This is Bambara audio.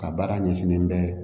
Ka baara ɲɛsinnen bɛ